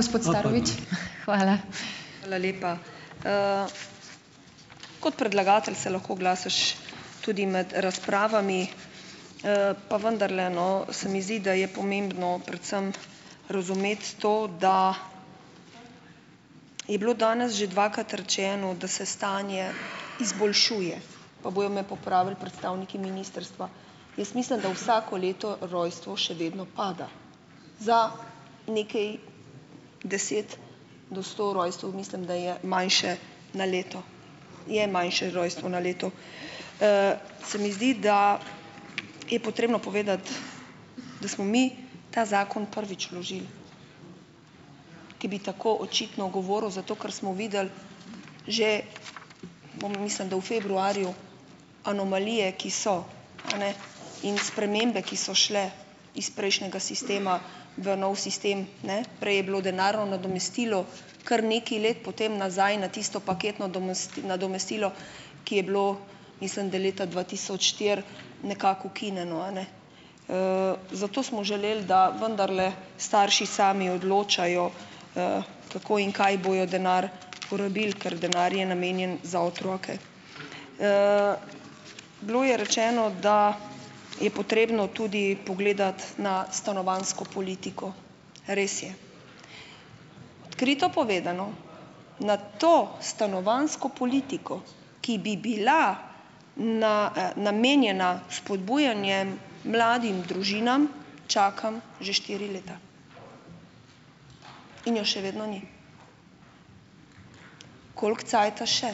Hvala lepa. Kot predlagatelj se lahko oglasiš tudi med razpravami. Pa vendarle, no, se mi zdi, da je pomembno predvsem razumeti to, da je bilo danes že dvakrat rečeno, da se stanje izboljšuje, pa bojo me popravili predstavniki ministrstva. Jaz mislim, da vsako leto rojstvo še vedno pada za nekaj deset do sto rojstev, mislim, da je manjše na leto, je manjše rojstvo na leto. Se mi zdi, da je potrebno povedati, da smo mi ta zakon prvič vložili, ki bi tako očitno govoril, zato ker smo videli že, bom, mislim, da v februarju, anomalije, ki so eni in spremembe, ki so šle iz prejšnjega sistema v nov sistem. Ne, Prej je bilo denarno nadomestilo kar nekaj let, potem nazaj na tisto paketno nadomestilo, ki je bilo mislim, da leta dva tisoč štiri nekako ukinjeno, a ne. Zato smo želeli, da vendarle starši sami odločajo, kako in kaj bojo denar porabili, ker denar je namenjen za otroke. Bilo je rečeno, da je potrebno tudi pogledati na stanovanjsko politiko. Res je. Odkrito povedano, na to stanovanjsko politiko, ki bi bila namenjena spodbujanjem mladim družinam, čakam že štiri leta in je še vedno ni. Koliko cajta še?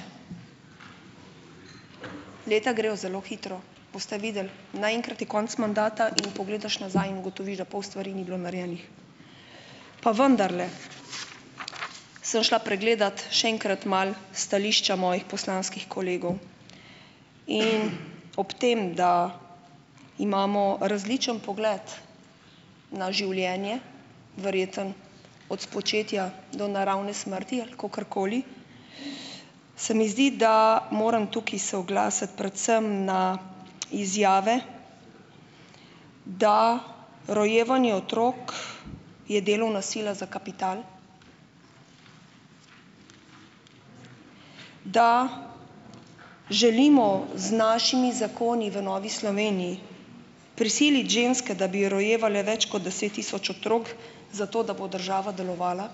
Leta grejo zelo hitro, boste videli, naenkrat je konec mandata in pogledaš nazaj in ugotoviš, da pol stvari ni bilo narejenih. Pa vendarle, sem šla pregledat še enkrat malo stališča mojih poslanskih kolegov in ob tem, da imamo različen pogled na življenje, verjetno od spočetja do naravne smrti ali kakorkoli, se mi zdi, da moram tukaj se oglasiti predvsem na izjave, da rojevanje otrok je delovna sila za kapital. Da želimo z našimi zakoni v Novi Sloveniji prisiliti ženske, da bi rojevale več kot deset tisoč otrok, zato da bo država delovala?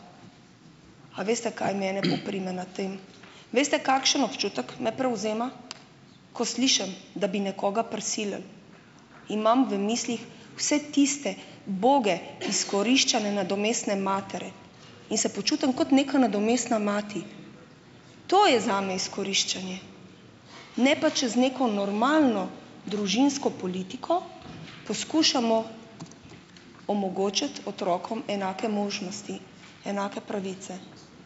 A veste, kaj mene poprime na tem? Veste, kakšen občutek me prevzema, ko slišim, da bi nekoga prisilili, imam v mislih vse tiste uboge izkoriščane nadomestne matere in se počutim kot neka nadomestna mati. To je zame izkoriščanje. Ne pa čez neko normalno družinsko politiko, poskušamo omogočiti otrokom enake možnosti, enake pravice.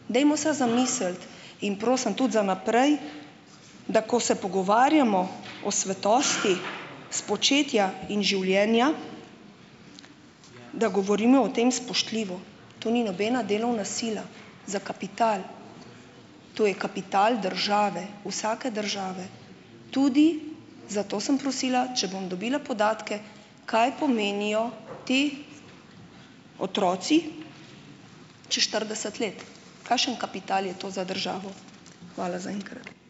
Dajmo se zamisliti in prosim tudi za naprej, da ko se pogovarjamo o svetosti spočetja in življenja, da govorimo o tem spoštljivo. To ni nobena delovna sila za kapital. To je kapital države, vsake države. Tudi zato sem prosila, če bom dobila podatke, kaj pomenijo ti otroci čas štirideset let? Kakšen kapital je to za državo? Hvala zaenkrat.